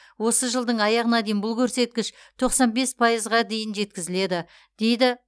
осы жылдың аяғына дейін бұл көрсеткіш тоқсан бес пайызға дейін жеткізіледі дейді